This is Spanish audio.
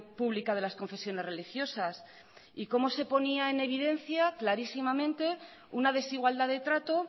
pública de las confesiones religiosas y cómo se ponía en evidencia clarísimamente una desigualdad de trato